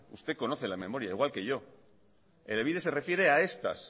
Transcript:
usted conoce la memoria igual que yo elebide se refiere a estas